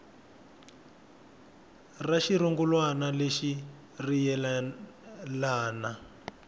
ra xirungulwana lexi ri yelana